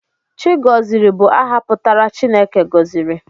Chigọziri bụ aha pụtara 'Chineke gọziri'